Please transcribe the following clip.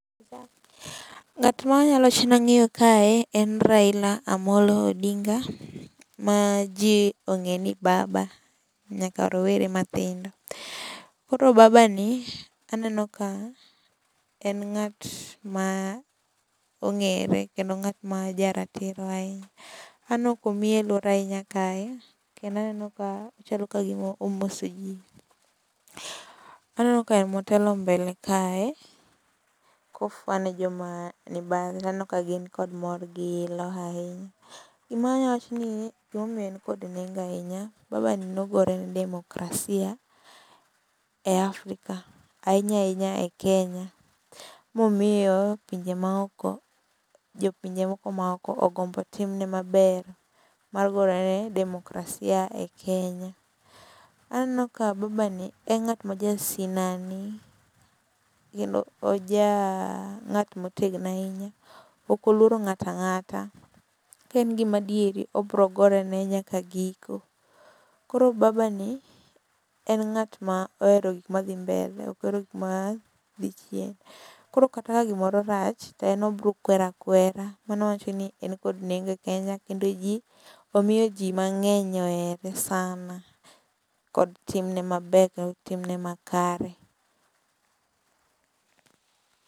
Ng'at ma anyalo wacho ni ang'eyo kae en Raila Amolo Odinga. Ma ji ong'e ni Baba nyaka rawere mathindo. Koro Baba ni aneno ka en ng'at ma ong'ere kendo ng'at ma ja ratiro ahinya. Aneno komieluore ahinya kae kendo aneno ka nyalo ka gima omoso ji. Aneno ka en ema otelo mbele kae kofwa ne joma ni bang'e. Aneno ka gin gi kod mor gi ilo ahinya. Gima anyalo wacho niya gima omiyo en kod nengo ahinya Baba ni nogore ne demokrasia e Afrika, ahinya ahinya e Kenya momiyo pinje maoko jopinje moko maoko ogombo timne maber mar gore ne demokrasia e Kenya. Aneno ka Baba ni en ng'at ma jasinani kendo oja ng'at motegno ahinya. Ok oluoro ng'at angata. Ka en gima adieri obiro gorene nyaka giko. Koro Baba ni en ng'at ma ohero gik ma dhi mbele ok ohero gik ma dhi chien. Koro kaka gimoro rach to en obiro kwero akwera mano wacho ni en kod nengo e Kenya kendo ji omiyo ji mang'eny ohere sana kod timne maber kendo timne ma kare.